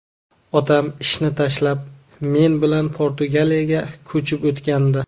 Otam ishini tashlab, men bilan Portugaliyaga ko‘chib o‘tgandi.